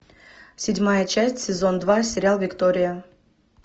седьмая часть сезон два сериал виктория